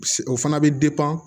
O fana bɛ